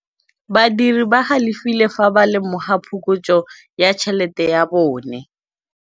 Badiri ba galefile fa ba lemoga phokotsô ya tšhelête ya bone.